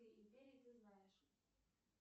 империи ты знаешь